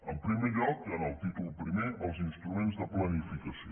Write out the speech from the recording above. en primer lloc en el títol primer els instruments de planificació